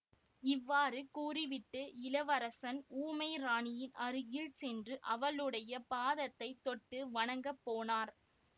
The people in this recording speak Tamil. இவ்வாறு கூறிவிட்டு இளவரசர் ஊமை ராணியின் அருகில் சென்று அவளுடைய பாதத்தைத் தொட்டு வணங்கப் போனார்